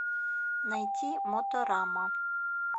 найти моторама